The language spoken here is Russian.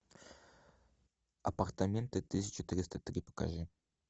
апартаменты тысяча триста три покажи